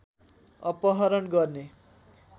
अपहरण गर्ने